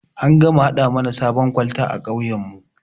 An gama gama haɗa mana sabon kwalta a kauyan mu